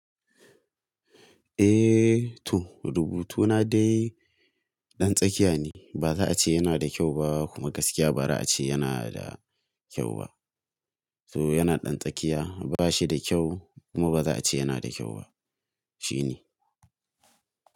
Eh to, rubutuna dai ɗan tsakiya ne. Ba za a ce yana da kyau ba kuma gaskiya ba za a ce yana da kyau ba. To yana ɗan tsakiya, ba shi da kyau kuma ba za a ce yana da kyau ba. Shi ne.